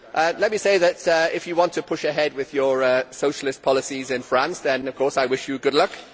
Let me say that if you want to push ahead with your socialist policies in France, then of course I wish you good luck.